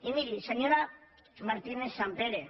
i miri senyora martínez sampere